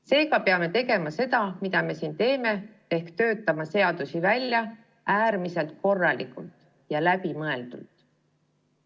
Seega peame tegema seda, mida me siin teeme, ehk töötama seadusi välja äärmiselt korralikult ja läbimõeldult.